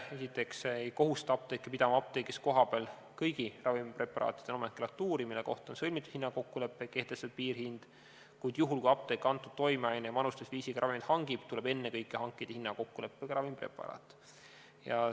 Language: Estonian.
Esiteks, see ei kohusta apteeke pidama apteegis kohapeal kõigi ravimpreparaatide nomenklatuuri, mille kohta on sõlmitud hinnakokkulepe ja kehtestatud piirhind, kuid juhul, kui apteek selle toimeaine ja manustamisviisiga ravimeid hangib, tuleb ennekõike hankida hinnakokkuleppega ravimpreparaat.